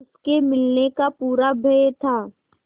उसके मिलने का पूरा भय था